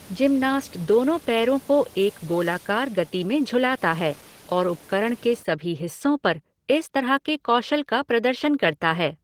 Gymnast दोनों पैरों को एक गोलाकार गति में झुलाता है और उपकरण के सभी हिस्सों पर इस तरह के कौशल का प्रदर्शन करता है।